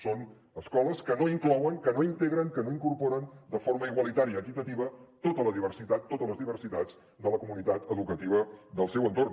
són escoles que no inclouen que no integren que no incorporen de forma igualitària equitativa tota la diversitat totes les diversitats de la comunitat educativa i del seu entorn